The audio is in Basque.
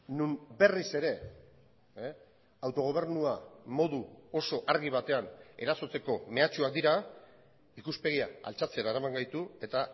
non berriz ere autogobernua modu oso argi batean erasotzeko mehatxuak dira ikuspegia altxatzera eraman gaitu eta